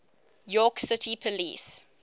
york city police